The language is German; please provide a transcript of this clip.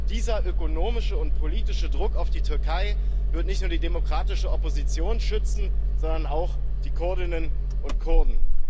Dieser ökonomische und politische Druck auf die Türkei wird nicht nur die demokratische Opposition schützen, sondern auch die Kurdinnen und Kurden.